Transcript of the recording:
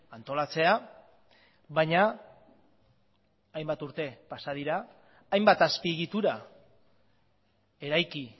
antolatzea baina hainbat urte pasa dira hainbat azpiegitura eraiki